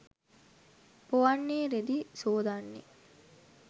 පොවන්නේ රෙදි සෝදන්නේ